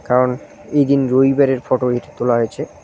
কারণ এই দিন রবিবারের ফটো এটি তোলা হয়েছে।